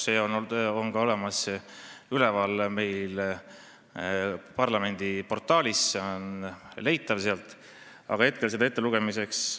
See seisukoht on olemas ka parlamendi koduleheküljel, see on sealt leitav.